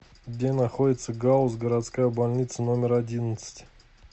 где находится гауз городская больница номер одиннадцать